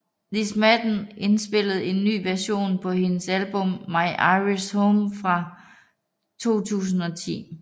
Liz Madden inspillede en ny version på hendes album My Irish Home fra 2010